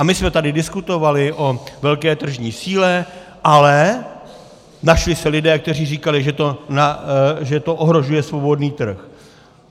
A my jsme tady diskutovali o velké tržní síle, ale našli se lidé, kteří říkali, že to ohrožuje svobodný trh.